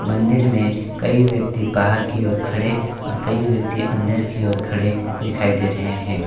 मंदिर में कई व्यक्ति बाहर की ओर खड़े और कई व्यक्ति अंदर की ओर खड़े दिखाई दे रहे हैं।